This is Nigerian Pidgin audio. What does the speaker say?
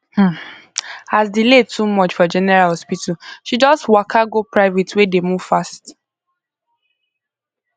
um as delay too much for general hospital she just waka go private wey dey move fast